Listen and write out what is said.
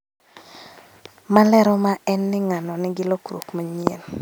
Malero ma en ni ng'ano nigi lokruok manyien